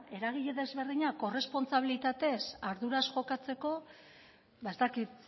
eragile ezberdinak korrespontsabilitatez arduraz jokatzeko ez dakit